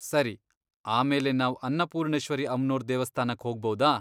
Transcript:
ಸರಿ, ಆಮೇಲೆ ನಾವ್ ಅನ್ನಪೂರ್ಣೇಶ್ವರಿ ಅಮ್ನೋರ್ ದೇವಸ್ಥಾನಕ್ ಹೋಗ್ಬೌದಾ?